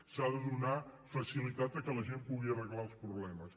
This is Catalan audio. s’ha de donar facilitat perquè la gent pugui arreglar els problemes